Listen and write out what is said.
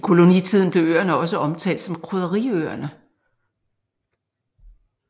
I kolonitiden blev øerne også omtalt som Krydderiøerne